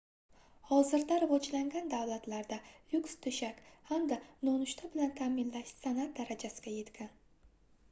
hozirda rivojlangan davlatlarda lyuks toʻshak hamda nonushta bilan taʼminlash sanʼat darajasiga yetgan